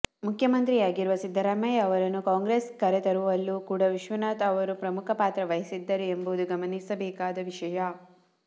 ಮುಖ್ಯಮಂತ್ರಿಯಾಗಿರುವ ಸಿದ್ದರಾಮಯ್ಯ ಅವರನ್ನು ಕಾಂಗ್ರೆಸ್ಗೆ ಕರೆತರುವಲ್ಲೂ ಕೂಡ ವಿಶ್ವನಾಥ್ ಅವರು ಪ್ರಮುಖ ಪಾತ್ರ ವಹಿಸಿದ್ದರು ಎಂಬುದು ಗಮನಿಸಬೇಕಾದ ವಿಷಯ